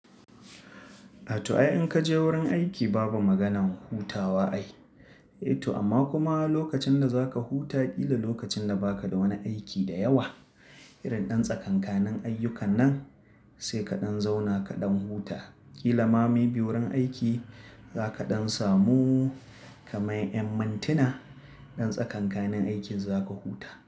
A to ai in ka je wurin aiki babu maganan hutawa ai. Eh to amma kuma lokacin da za ka huta, ki da lokacin da ba ka da wani aiki da yawa. Irin ɗan tsakanikanin ayyukan nan sai kaɗan zauna kaɗan huta. Kilama mabi wurin aiki za kaɗan samu kamar yammantina. Ɗan tsakanikanin aikin za ka huta.